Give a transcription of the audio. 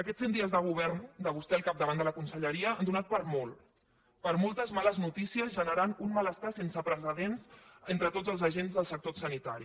aquests cent dies de govern de vostè al capdavant de la conselleria han donat per a molt per a moltes males notícies i ha generat un malestar sense precedents entre tots els agents del sector sanitari